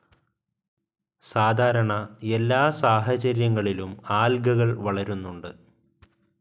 സാധാരണ എല്ലാ സാഹചര്യങ്ങളിലും ആൽഗകൾ വളരുന്നുണ്ട്.